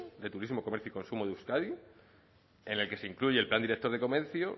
de turismo comercio y consumo de euskadi en el que se incluye el plan director de comercio